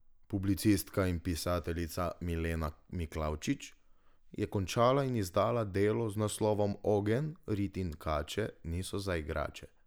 Publicistka in pisateljica Milena Miklavčič je končala in izdala delo z naslovom Ogenj, rit in kače niso za igrače.